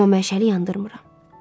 Amma məşəli yandırmıram.